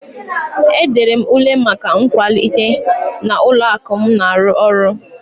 E dere m ule maka nkwalite n'ụlọ akụ m na-arụ ọrụ.